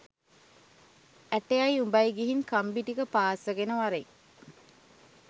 ඇටයයි උඹයි ගිහින් කම්බි ටික පාස්සගෙන වරෙන්